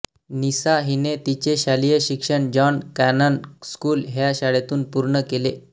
निसा हिने तिचे शालेय शिक्षण जॉन कॉनन स्कूल ह्या शाळेतून पूर्ण केले